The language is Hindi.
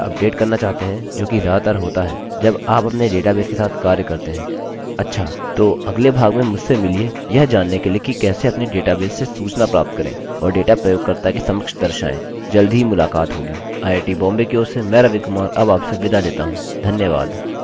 जल्द ही मुलाकात होगी आईआईटी बॉम्बे की ओर से मैं रवि कुमार अब आपसे विदा लेता हूँ धन्यवाद